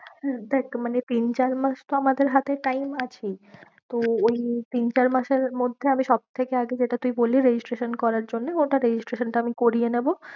দেখ মানে তিন চার মাস তো আমাদের হাতে time আছেই তো ওই তিন চার মাসের মধ্যে আমি সব থেকে আগে যেটা তুই বললি registration করার জন্য ওটা registration টা আমি করিয়ে নেবো।